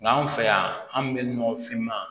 Nga anw fɛ yan an bɛ nɔgɔfinma